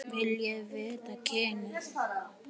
Viljiði vita kynið?